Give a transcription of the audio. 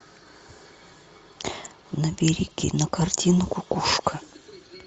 набери кинокартину кукушка